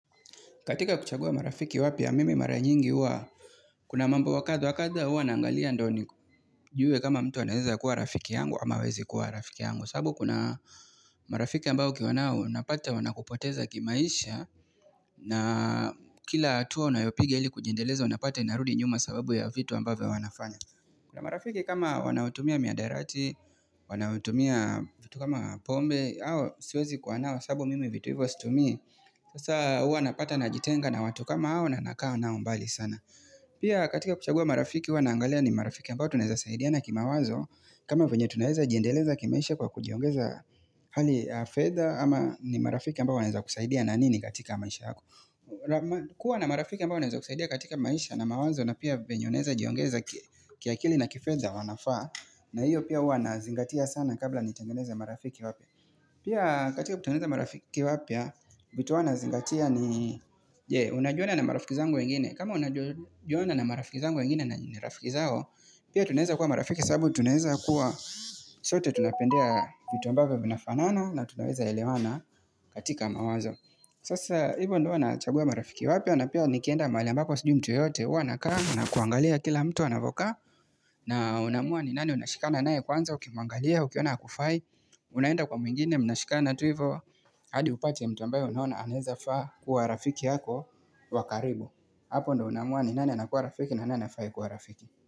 Katika kuchagua marafiki wapya mimi mara nyingi huwa kuna mambo wakadha wakadha wakadu wakadu wanaangalia ndoo nijuwe kama mtu anaeza kuwa rafiki yangu ama hawezi kuwa rafiki yangu. Sababu kuna marafiki ambao kiwanao unapata wanakupoteza kimaisha na kila atua unayopiga ili kujendeleza unapata inarudi nyuma sababu ya vitu ambavyo wanafanya. Kuna marafiki kama wanautumia miadairati, wanautumia vitu kama pombe, hao siwezi kuwa nao sababu mimi vitu ivo situmii. Sasa hua napata na jitenga na watu kama au na nakaa nao mbali sana Pia katika kuchagua marafiki hua naangalea ni marafiki ambao tuneza zaidia na kima wazo kama venye tunaeza jiendeleza kimeisha kwa kujiongeza hali ya fedha ama ni marafiki ambao waneza kuzaidia na nini katika maisha yako kuwa na marafiki ambao waneza kuzaidia katika maisha na mawazo na pia venye oneza jiongeza ki akili na kifedha wanafaa na hiyo pia hua nazingatia sana kabla nitengeneza marafiki wapya. Pia katika kutuneza marafiki wapya vitu uwazingatia ni Je, unajuana na marafiki zangu wengine, kama unajuana na marafiki zangu wengine na nirafiki zao Pia tunaeza kuwa marafiki sababu tunaeza kuwa zote tunapendea vitu ambavyo vinafanaana na tunaweza elewana katika mawazo Sasa hivyo ndo wanachagua marafiki wapyo na pia nikienda mahali ambapo sijui mtu yote uwa nakaa nakuangalia kila mtu anavoka na unamua ni nani unashikana nae kwanza ukimangalia, ukiona hakufai unaenda kwa mwingine mnashikana tu ivo hadi upate mtambayo unaona anaeza faa kuwa rafiki yako wakaribu. Hapo ndo unamua ni nani anakuwa rafiki na nani hafai kuwa rafiki.